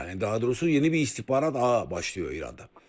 Hə, daha doğrusu yeni bir istihbarat ağı başlayır İranda.